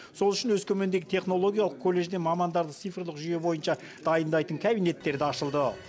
сол үшін өскемендегі технологиялық колледжде мамандарды цифрлық жүйе бойынша дайындайтын кабинеттер де ашылды